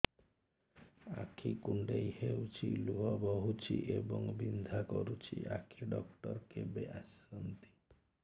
ଆଖି କୁଣ୍ଡେଇ ହେଉଛି ଲୁହ ବହୁଛି ଏବଂ ବିନ୍ଧା କରୁଛି ଆଖି ଡକ୍ଟର କେବେ ଆସନ୍ତି